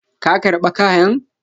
Ka karba kayan?